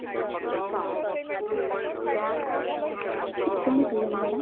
ଶୁଣି ପାରିଲିନି madam